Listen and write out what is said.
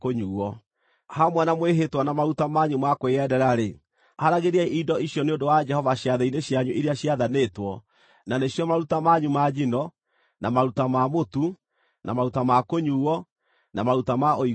“ ‘Hamwe na mwĩhĩtwa na maruta manyu ma kwĩyendera-rĩ, haaragĩriai indo icio nĩ ũndũ wa Jehova ciathĩ-inĩ cianyu iria ciathanĩtwo: na nĩcio maruta manyu ma njino, na maruta ma mũtu, na maruta ma kũnyuuo, na maruta ma ũiguano.’ ”